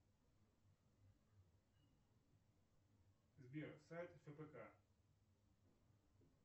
сбер сайт фпк